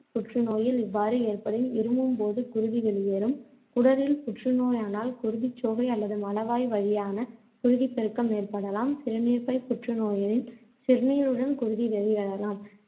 புற்றுநோயில் இவ்வாறு ஏற்படின் இருமும்போது குருதி வெளியேறும். குடலில் புற்றுநோயானால், குருதிச்சோகை அல்லது மலவாய் வழியான குருதிப்பெருக்கம் ஏற்படலாம். சிறுநீர்ப்பைப் புற்று நோயெனின், சிறுநீருடன் குருதி வெளியேறலாம்.